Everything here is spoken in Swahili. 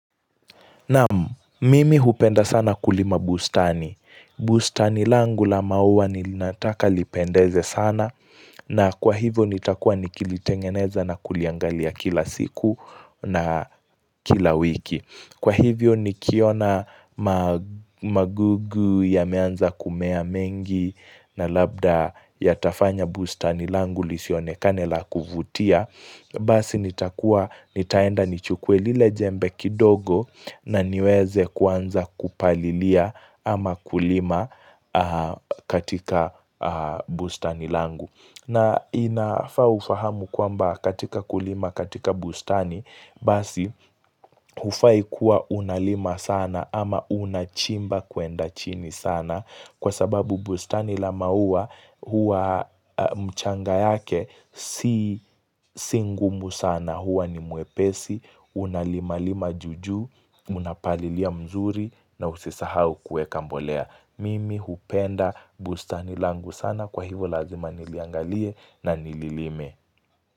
Naam, mimi hupenda sana kulima bustani. Bustani langu la maua nilinataka lipendeze sana na kwa hivyo nitakua nikilitengeneza na kuliangalia kila siku na kila wiki. Kwa hivyo ni kiona magugu ya meanza kumea mengi na labda ya tafanya bustani langu lisionekane la kuvutia basi ni taenda ni chukwe lile jembe kidogo na niweze kuanza kupalilia ama kulima katika bustani langu na inafaa ufahamu kwamba katika kulima katika bustani basi hufai kuwa unalima sana ama unachimba kuenda chini sana kwa sababu bustani la maua huwa mchanga yake si singumu sana huwa ni mwepesi, unalima lima juu juu, unapalilia mzuri na usisahau kueka mbolea. Mimi hupenda bustani langu sana kwa hivo lazima niliangalie na nililime.